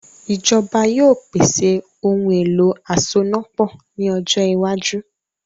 Ìjọba yóò pèsè “ ohun-èlo asonápọ̀” ní ọjọ iwájú